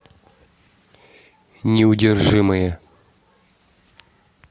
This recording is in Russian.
неудержимые